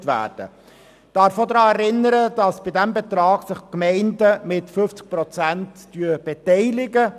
Ich darf auch daran erinnern, dass sich die Gemeinden an diesem Betrag mit 50 Prozent beteiligen.